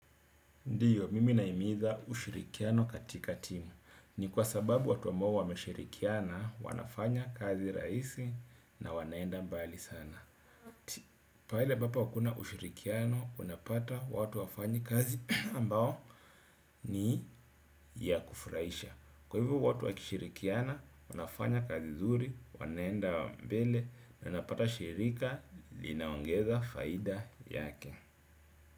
Ndiyo, mimi nahimiza ushirikiano katika timu. Ni kwa sababu watu ambao wameshirikiana wanafanya kazi rahisi na wanaenda mbali sana. Pahali ambapo hakuna ushirikiano, unapata watu hawafanyi kazi ambayo ni ya kufurahisha. Kwa hivyo watu wakishirikiana, wanafanya kazi nzuri, wanaenda mbele, na unapata shirika, linaongeza faida yake.